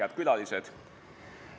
Head külalised!